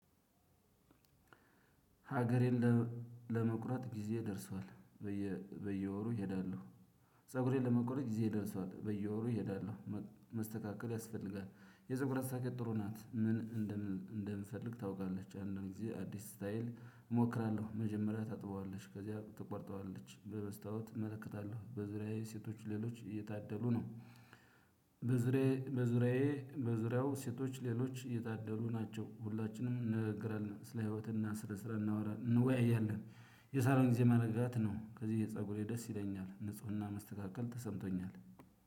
ሀገሬን ለመቁረጥ ጊዜ ደርሷል። በየወሩ እሄዳለሁ ፀጉሬን ለመቆረጥ ጊዜዬ ደርሷል በየወሩ እሄዳለሁ። መስተካከል ያስፈልጋል የፀጉር አስተካካዬ ጥሩ ናት። ምን እንደምፈልግ ታውቃለች። አንዳንድ ጊዜ አዲስ ስታይል እሞክራለሁ። መጀመሪያ ታጥበዋለች ከዚያ ትቆርጠዋለች በመስታወት እመለከታለሁ በዙሪያዬ ሴቶች ሌሎች እየታደሉ ነው። በዙሪያዬ በዙሪያው ሴቶች ሌሎች እየታደሉ ናቸው። ሁላችንም እንነጋገራለን ስለ ህይወት እና ስለ ስራ እናወራለን እንወያያለን። የሳሎን ጊዜ መረጋት ነው። ከዚያ ፀጉሬ ደስ ይለኛል ንፁህና መስተካከል ተሰምቶኛል።